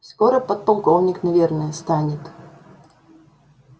скоро подполковник наверное станет